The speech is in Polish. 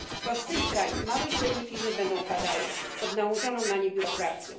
To z tych krajów małe i średnie firmy będą upadały pod nałożoną na nie biurokracją.